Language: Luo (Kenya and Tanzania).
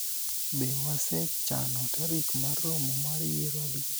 be wasechano tarik mar romo mar yiero adier ?